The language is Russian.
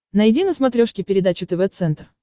найди на смотрешке передачу тв центр